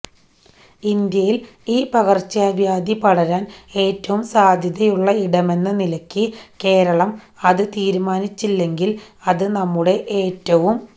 ഇന്ത്യയിൽ ഈ പകർച്ചവ്യാധി പടരാൻ ഏറ്റവും സാധ്യത ഉള്ള ഇടമെന്ന നിലക്ക് കേരളം അത് തീരുമാനിച്ചില്ലെങ്കിൽ അത് നമ്മുടെ ഏറ്റവും